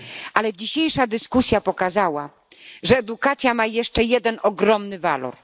Ale dzisiejsza dyskusja pokazała, że edukacja ma jeszcze jeden ogromny walor.